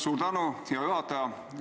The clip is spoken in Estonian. Suur tänu, hea juhataja!